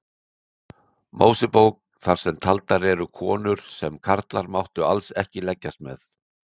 Mósebók þar sem taldar eru konur sem karlar máttu alls ekki leggjast með.